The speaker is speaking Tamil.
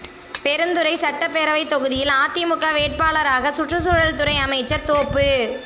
பெருந்துறை சட்டப்பேரவைத் தொகுதியில் அதிமுக வேட்பாளராக சுற்றுச்சூழல் துறை அமைச்சர் தோப்பு